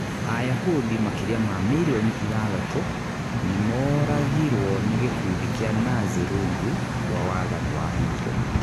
Ayahudi makĩria ma milioni ithathatũ nĩ mooragirũo nĩ gĩkundi kĩa Nazi rungu rwa wathani wa Hitler.